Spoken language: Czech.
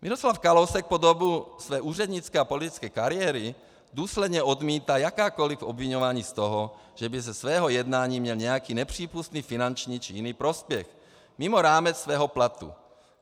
Miroslav Kalousek po dobu své úřednické a politické kariéry důsledně odmítá jakákoliv obviňování z toho, že by ze svého jednání měl nějaký nepřípustný finanční či jiný prospěch mimo rámec svého platu.